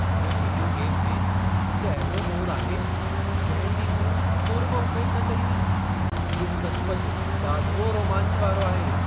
हिन video game में हिकु अहिड़ो मोड़ु आहे, जंहिं जी मूं तुर बि उमेद न कई हुई। इहो सचुपचु ॾाढो रोमांच वारो आहे।